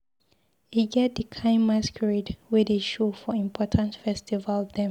E get di kain masqurade wey dey show for important festival dem.